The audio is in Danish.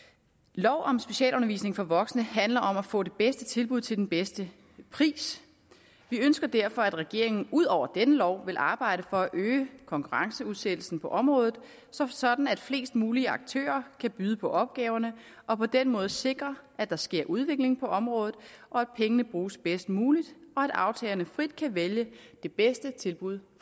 lov om specialundervisning for voksne handler om at få det bedste tilbud til den bedste pris vi ønsker derfor at regeringen ud over denne lov vil arbejde for at øge konkurrenceudsættelsen på området sådan at flest mulige aktører kan byde på opgaverne og på den måde sikre at der sker udvikling på området at pengene bruges bedst muligt og at aftagerne frit kan vælge det bedste tilbud